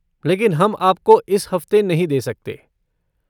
लेकिन हम आपको इस हफ़्ते नहीं दे सकते।